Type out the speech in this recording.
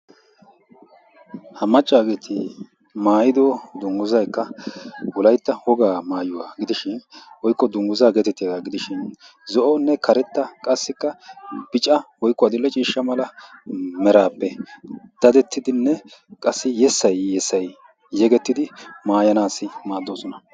Ha macca asay maayido dungguzay wolaytta wogaa maayuwaa gidishin woykko dungguza gidishin zo; oone karetta qassika bica woykko adil'ee ciishsha mala merappe daddetine qassi yesay yesay yegettidi maayanasi maadosona.